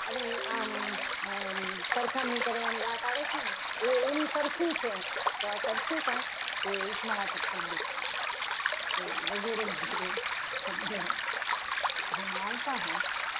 અને આમ સરખામણી કરવાની વાત આવે છે ને એ એનું સરખું છે. તો આ સરખું હોય એ ઉપમા વાચક શબ્દ છે. વગેરેને વગેરે શબ્દો જેમાં આવતા હોય.